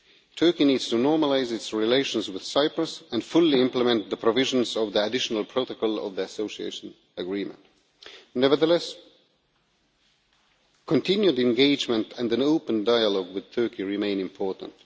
Turkey needs to normalise its relations with Cyprus and fully implement the provisions of the additional protocol of their association agreement. Nevertheless, continued engagement and an open dialogue with Turkey remain important.